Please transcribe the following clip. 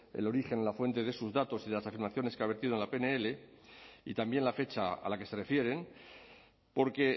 el origen la fuente de sus datos y de las afirmaciones que ha vertido en la pnl y también la fecha a la que se refieren porque